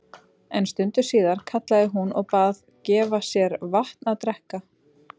En stundu síðar kallaði hún og bað gefa sér vatn að drekka.